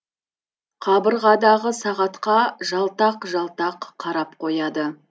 қабырғадағы сағатқа жалтақ жалтақ қарап қояды